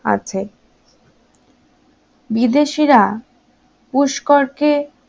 আছে বিদেশীরা পুষ্কর কে